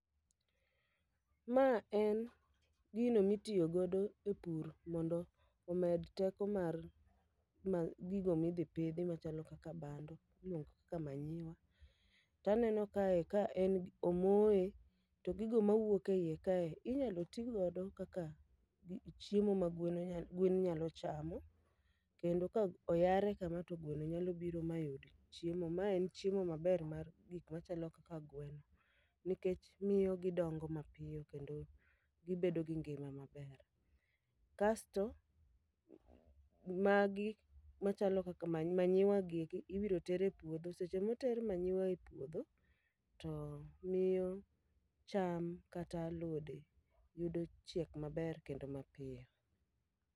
Ma en gino mitiyo godo e pur mondo omed teko mar ma gigo midhi pidhi machalo kaka bando, niok ka manyiwa. Taneno kae ka en gi omoye to gigo mawuok e iye kae inyalo ti godo kaka chiemo ma gwen nyalo chamo. Kendo ka oyare kama to gweno nyalo biro ma yud chiemo. Ma en chiemo maber mar gik machalo kaka gweno. Nikech miyo gidongo mapiyo kendo gibedo gi ngima maber. Kasto, magi machalo kaka manyiwa gieki ibiro ter e puodho. Seche moter manyiwa e puodho, to miyo cham kata alode yudo chiek maber kendo mapiyo.